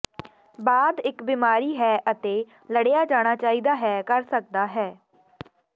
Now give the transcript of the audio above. ਬਾਅਦ ਇਕ ਬੀਮਾਰੀ ਹੈ ਅਤੇ ਲੜਿਆ ਜਾਣਾ ਚਾਹੀਦਾ ਹੈ ਕਰ ਸਕਦਾ ਹੈ